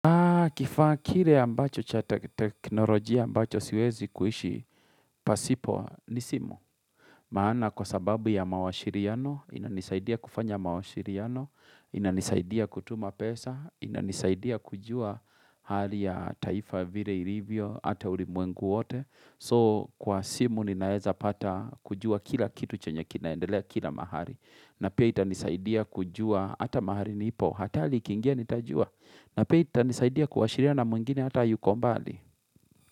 Kifa kile ambacho cha teknolojia ambacho siwezi kuishi, pasipo ni simu. Maana kwa sababu ya mawashiriano, inanisaidia kufanya mawashiriano, inanisaidia kutuma pesa, inanisaidia kujua hali ya taifa vire irivyo, ata ulimwengu wote. So kwa simu ninaweza pata kujua kila kitu chenye kinaendelea kila mahali. Na pia itanisaidia kujua, ata mahali nipo, hatali ikingia nitajua. Na pia itanisaidia kuwashiriana mwengine hata yuko mbali.